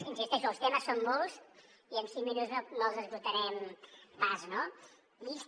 hi insisteixo els temes són molts i en cinc minuts no els esgotarem pas